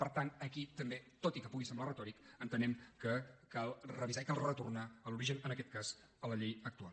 per tant aquí també tot i que pugui semblar retòric entenem que cal revisar i cal retornar a l’origen en aquest cas a la llei actual